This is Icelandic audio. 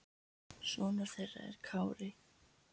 Sonur þeirra er Kári.